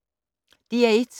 DR1